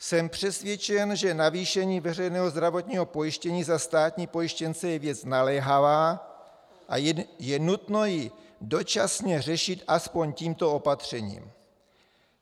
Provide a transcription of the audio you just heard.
Jsem přesvědčen, že navýšení veřejného zdravotního pojištění za státní pojištěnce je věc naléhavá a je nutno ji dočasně řešit aspoň tímto opatřením.